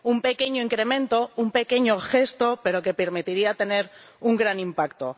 Un pequeño incremento, un pequeño gesto, pero que permitiría tener un gran impacto.